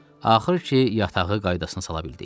Axır ki, yatağı qaydasına sala bildik.